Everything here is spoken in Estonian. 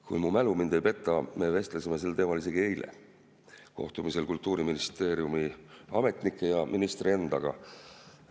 Kui mu mälu mind ei peta, me vestlesime sel teemal isegi eile kohtumisel Kultuuriministeeriumi ametnike ja ministri endaga.